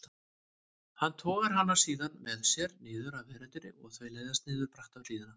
Hann togar hana síðan með sér niður af veröndinni og þau leiðast niður bratta hlíðina.